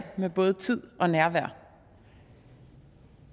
med både tid og nærvær